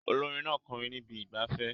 Olórin náà ń kọrin ní ibi ìgbafẹ́